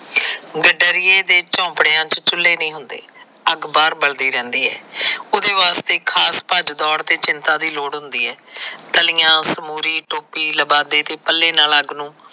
ਗੱਡਰਿਏ ਦੇ ਝੋਪੜਿਆਂ ਚ ਚੁੱਲੇ ਨਹੀ ਹੁੰਦੇ। ਅੱਗ ਬਾਹਰ ਬਲਦੀ ਰਹਿੰਦੀ ਹੈ। ਉਹਦੇ ਵਾਸਤੇ ਖਾਸ ਭੱਜ ਦੌੜ ਤੇ ਚਿੰਤਾ ਦੀ ਲੋੜ ਹੁੰਦੀ ਹੈ। ਤਲੀਆਂ, ਸਮੂਰੀ, ਤੋਪੀ, ਲਬਾਦੇਕੇ ਪੱਲੇ ਨਾਲ ਅੱਗ ਨੂੰ।